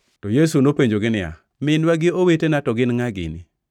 To Yesu nopenjogi niya, “Minwa gi owetena to gin ngʼa gini?”